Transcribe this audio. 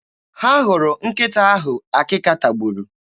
Ha hụrụ nkịta ahụ akịka tagburu?